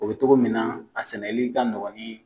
O bɛ togo min na a sɛnɛli ka nɔgɔ ni